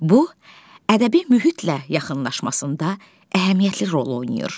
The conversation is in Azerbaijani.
Bu ədəbi mühitlə yaxınlaşmasında əhəmiyyətli rol oynayır.